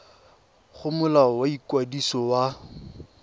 go molao wa ikwadiso wa